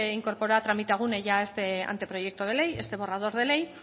incorporó a tramitagune ya este anteproyecto de ley este borrador de ley